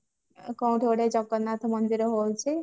କ କୁଆଡେ ଜଗନ୍ନାଥ ମନ୍ଦିର ହେଇଛି